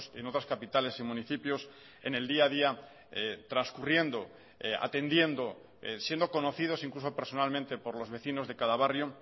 en otras capitales y municipios en el día a día transcurriendo atendiendo siendo conocidos incluso personalmente por los vecinos de cada barrio